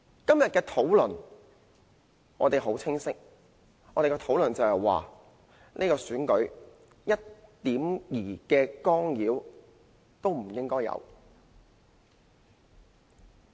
今天的討論，我們很清晰：這次選舉一丁點干預都不應該有！